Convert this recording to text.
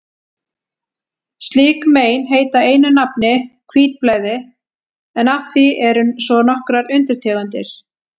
Slík mein heita einu nafni hvítblæði, en af því eru svo nokkrar undirtegundir.